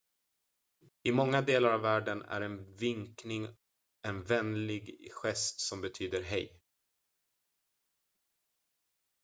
"i många delar av världen är en vinkning en vänlig gest som betyder "hej"".